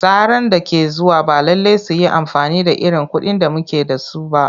Tsaran da ke zuwa ba lallai su yi amfani da irin kuɗin da muke da su ba.